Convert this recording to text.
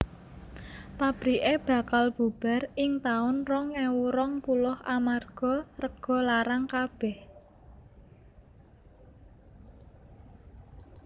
Pabrike bakal bubar ing taun rong ewu rong puluh amarga rego larang kabeh